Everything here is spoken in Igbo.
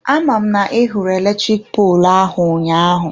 Aman na I hụrụ electric poolụ ahụ ụnyaahụ?